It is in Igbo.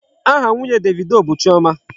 Aha nwunye Davido bụ Chioma.